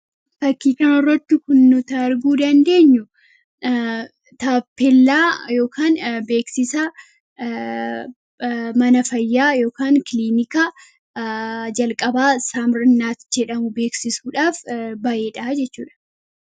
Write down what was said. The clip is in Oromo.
fakkii kana irratti kun nuti arguu dandeenyu taappellaa beeksisaa mana fayyaa yookiin kiliinika jalqabaa saamirnaat jedhamu beeksisuudhaaf ba'eedha jechuudha.